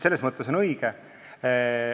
Selles mõttes on kõik õige.